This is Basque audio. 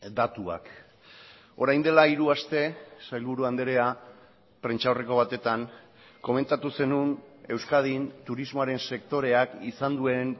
datuak orain dela hiru aste sailburu andrea prentsaurreko batetan komentatu zenuen euskadin turismoaren sektoreak izan duen